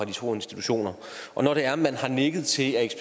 de to institutioner og når det er man har nikket til at